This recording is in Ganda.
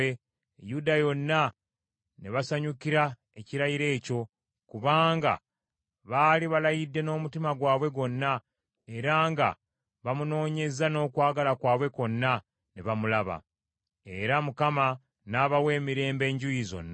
Yuda yonna ne basanyukira ekirayiro ekyo, kubanga baali balayidde n’omutima gwabwe gwonna, era nga bamunoonyezza n’okwagala kwabwe kwonna, ne bamulaba. Era Mukama n’abawa emirembe enjuuyi zonna.